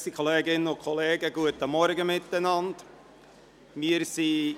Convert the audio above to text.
In diesem Sinne ist dieses Resultat nicht mehr gültig.